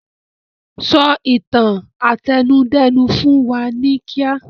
Sọ ìtàn àtẹnudẹ́nu fún wa ní kíá!